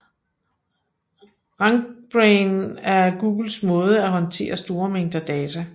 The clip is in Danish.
Rankbrain er Googles måde at håndtere store mængder data